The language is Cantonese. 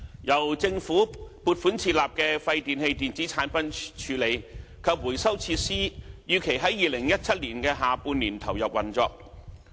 由政府撥款設立的廢電器電子產品處理及回收設施預期於2017年下半年投入運作。